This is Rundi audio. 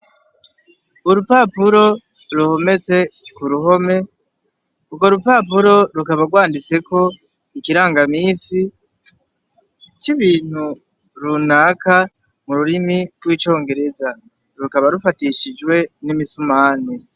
Urupapuro ruhometse ku ruhome urwo rupapuro rukaba rwanditseko ikirangaminsi c'ibintu runaka mu rurimi rw'icongereza rukaba rufatishijwe n'imisumari.